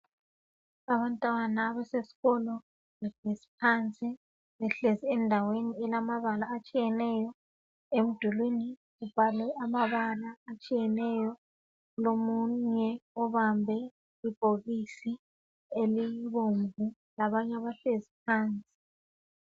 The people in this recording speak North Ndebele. Abantwana abasesikolo behlezi phansi behlezi endaweni elamabala atshiyeneyo emdulwini kubhalwe amabala atshiyeneyo kulomunye obambe ibhokisi elibomvu labanye abahlezi phansi